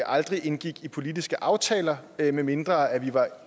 aldrig indgår politiske aftaler medmindre